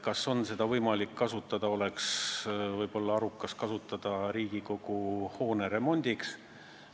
Küsiti, kas oleks võimalik ja arukas kasutada seda Riigikogu hoone remondiks.